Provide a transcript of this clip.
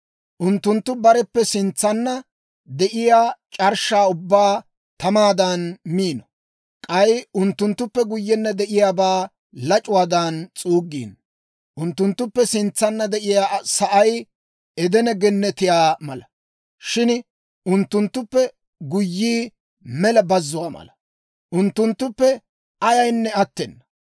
Unttunttu bareppe sintsanna de'iyaa c'arshshaa ubbaa tamaadan miino; k'ay unttunttuppe guyyenna de'iyaabaa lac'uwaadan s'uuggiino; unttunttuppe sintsanna de'iyaa sa'ay Edene Gennetiyaa mala; shin unttunttuppe guyyii mela bazzuwaa mala; unttunttuppe ayaynne attena.